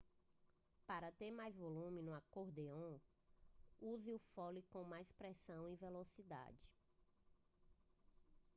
para ter mais volume no acordeão use o fole com mais pressão ou velocidade